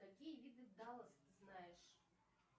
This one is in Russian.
какие виды даллас ты знаешь